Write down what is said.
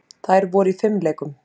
Þær voru í fimleikum.